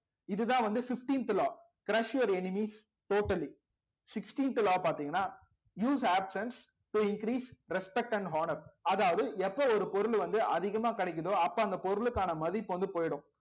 இதுதான் வந்து fifteenth law crush your enemies totally sixteenth law பாத்தீங்கன்னா use absents to increase respect and honour அதாவது எப்ப ஒரு பொருள் வந்து அதிகமா கிடைக்குதோ அப்ப அந்த பொருளுக்கான மதிப்பு வந்து போயிடும்.